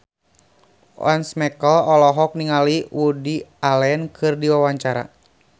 Once Mekel olohok ningali Woody Allen keur diwawancara